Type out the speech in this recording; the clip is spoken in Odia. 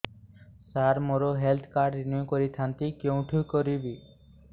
ସାର ମୋର ହେଲ୍ଥ କାର୍ଡ ରିନିଓ କରିଥାନ୍ତି କେଉଁଠି କରିବି